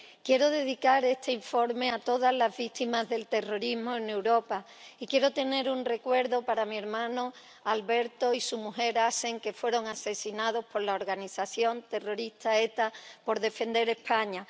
Quiero dedicar este informe a todas las víctimas del terrorismo en Europa y quiero tener un recuerdo para mi hermano Alberto y su mujer Ascen, que fueron asesinados por la organización terrorista ETA por defender España.